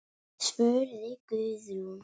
spurði Guðrún.